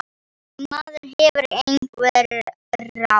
En maður hefur einhver ráð.